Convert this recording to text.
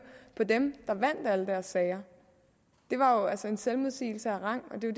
på dem der vandt alle deres sager det var altså en selvmodsigelse af rang og det er